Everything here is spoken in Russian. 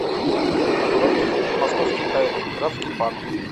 открой мне фильм московские тайны графский парк